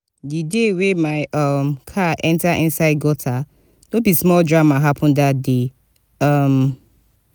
di day wey my um car enta inside gutter no be small drama happen dat day. um